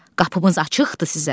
Qapımız açıqdır sizə.